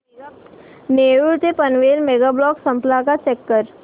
नेरूळ ते Panvel mega block संपला का चेक कर